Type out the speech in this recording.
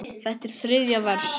Þetta er þriðja vers.